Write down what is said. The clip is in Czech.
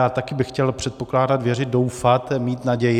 Já také bych chtěl předpokládat, věřit, doufat, mít naději.